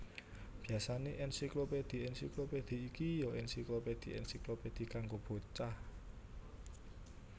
Biyasané ènsiklopédhi ènsiklopédhi iki ya ènsiklopédhi ènsiklopédhi kanggo bocah